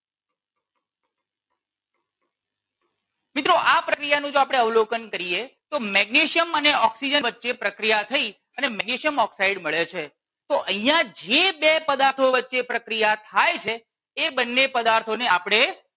મિત્રો જો આ પ્રક્રિયા નું આપણે અવલોકન કરીએ તો મેગ્નેશિયમ અને ઓક્સિજન વચ્ચે પ્રક્રિયા થઈ અને મેગ્નેશિયમ ઓક્સાઇડ મળે છે તો અહિયાં જે બે પદાર્થો વચ્ચે પ્રક્રિયા થાય છે એ બંને પદાર્થો ને આપણે